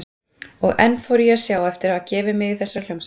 Og enn fór ég að sjá eftir að hafa gefið mig í þessa hljómsveit.